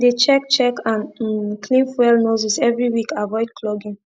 dey check check and um clean fuel nozzles every week avoid clogging